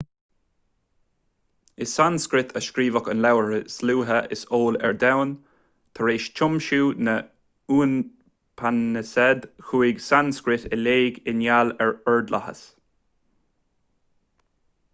i sanscrait a scríobhadh an leabhar is luaithe is eol ar domhan tar éis tiomsú na n-upainisead chuaigh sanscrait i léig i ngeall ar ordlathas